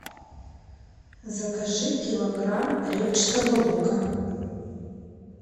закажи килограмм репчатого лука